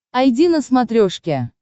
айди на смотрешке